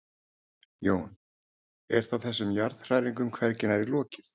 Jón: Er þá þessum jarðhræringum hvergi nærri lokið?